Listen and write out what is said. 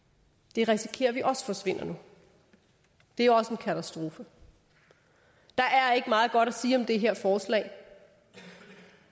det risikerer vi nu også forsvinder og det er også en katastrofe der er ikke meget godt sige om det her forslag og